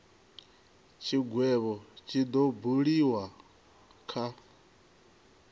tshigwevho tshi do buliwa kha